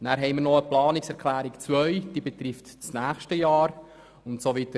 Dann gibt es noch die Planungserklärung 2, die das nächste Jahr betrifft.